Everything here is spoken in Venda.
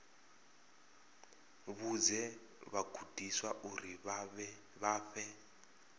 vhudze vhagudiswa uri vha fhe